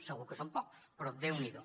segur que són pocs però déu n’hi do